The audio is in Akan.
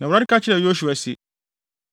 Na Awurade ka kyerɛɛ Yosua se,